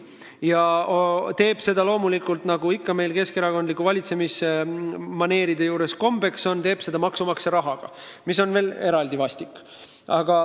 Ja ta teeb seda loomulikult, nagu ikka keskerakondlike valitsemismaneeride puhul kombeks on, maksumaksja rahaga, mis on veel eriti vastik.